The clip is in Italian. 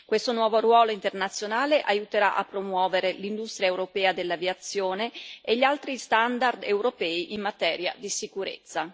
Questo nuovo ruolo internazionale aiuterà a promuovere l'industria europea dell'aviazione e gli altri standard europei in materia di sicurezza.